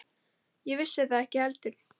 Ég vissi það ekki heldur.